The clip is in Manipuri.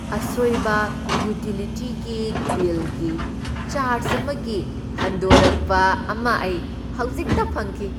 ꯑꯁꯣꯢꯕ ꯎꯇꯤꯂꯤꯇꯤ ꯕꯤꯜꯒꯤ ꯆꯥꯔ꯭ꯖ ꯑꯃꯒꯤ ꯍꯟꯗꯣꯔꯛꯄ ꯑꯃ ꯑꯩ ꯍꯧꯖꯤꯛꯇ ꯐꯪꯈꯤ꯫